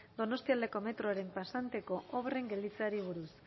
donostialdeko metroaren pasanteko obren gelditzeari buruz